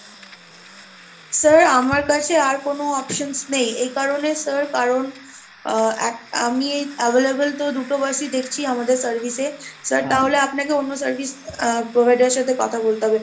sir আমার কাছে আর কোনো options নেই এই কারণে sir কারণ, আহ আ~ আমি ওই available তো দুটো bus ই দেখছি আমাদের service এ, sir তাহলে আপনাকে অন্য service provider এর সাথে কথা বলতে হবে।